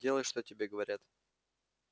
делай что тебе говорят